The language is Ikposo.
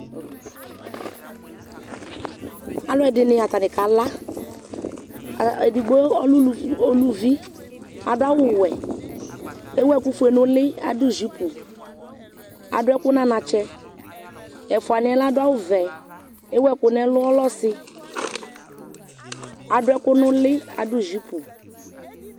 Alʊ ɛdini atani kala Edigbo lɛ uluvi Adʊ awʊwɛ Ewu ɛkʊfoe nʊ ʊli Adʊ jipu Adʊ ɛkʊ nʊ anatsɛ Ɛfʊani yɛ ladʊ awʊvɛ Ewuɛkʊ nʊ ɛlʊ Ɔlɛ ɔsi Adʊ ɛkʊ nʊlɩ Adʊ jipu